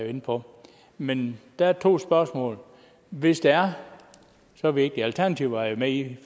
inde på men der er to spørgsmål hvis det er så vigtigt alternativet var jo med i